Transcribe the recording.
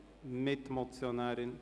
– Sie sprechen als Mitmotionärin.